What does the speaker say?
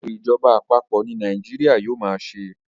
eto ìjọba àpapọ̀ ní Nàìjíríà yíò má ṣe